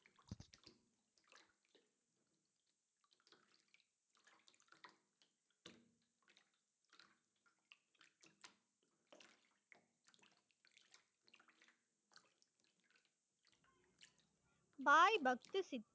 பாய் பக்தி